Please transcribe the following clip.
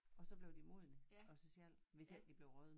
Og så blev de modne af sig selv hvis ikke de blev rådne